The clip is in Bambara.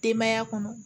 Denbaya kɔnɔ